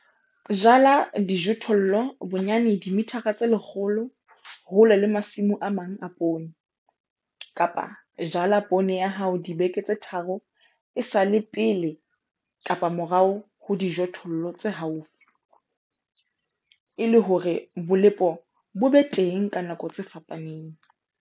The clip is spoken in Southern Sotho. Jala dijothollo bonyane 100 m hole le masimo a mang a poone, kapa jala poone ya hao dibeke tse tharo e sa le pele kapa morao ho dijothollo tse haufi, e le hore bolepo bo be teng ka nako tse fapaneng.